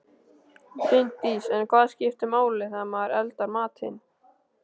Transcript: Bryndís: En hvað skiptir máli þegar maður eldar matinn?